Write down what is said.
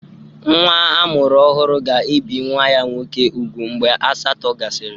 Nwa a mụrụ ọhụrụ ga-ebi nwa ya nwoke úgwù mgbe asatọ gasịrị.